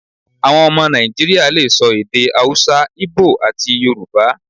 Àwọn ọmọ Nàìjíríà le so èdè Hausa, Íbò, àti Yorùbá.